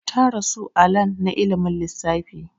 Ta rasu a lan na ilimin lissfafi